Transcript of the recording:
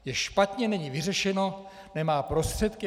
Je špatně, není vyřešeno, nemá prostředky.